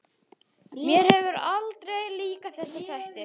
Mér hafa aldrei líkað þessir þættir.